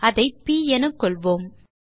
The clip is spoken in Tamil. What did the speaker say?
அதை ப் என கொள்வோம்